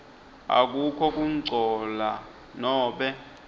akukho kungcola nobe